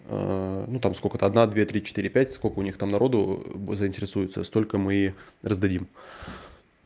ну там сколько-то одна две три четыре пять сколько у них там народу заинтересуются столько мы и раздадим